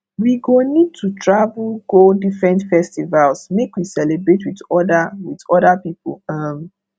we go need to travel go different festivals make we celebrate wit oda wit oda pipo um